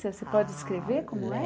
Você pode descrever como é?